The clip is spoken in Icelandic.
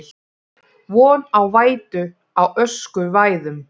Von á vætu á öskusvæðum